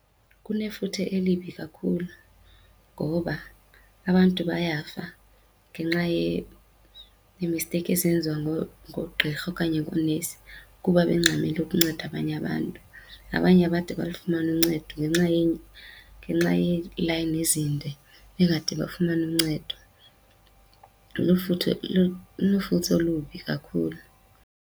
Kunefuthe elibi kakhulu ngoba abantu bayafa ngenxa yeemisteyikhi esenziwa ngoogqirha okanye ngoonesi kuba bengxamele ukunceda abanye abantu. Abanye abade balufumane uncedo ngenxa , ngenxa yeelayini ezinde bengade bafumane uncedo. Lunefuthe olubi kakhulu.